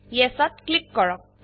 Yesত click কৰক